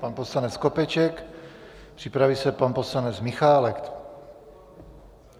Pan poslanec Skopeček, připraví se pan poslanec Michálek.